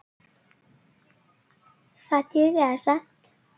Það dugði skammt.